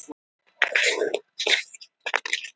Sveinfríður, hvað er klukkan?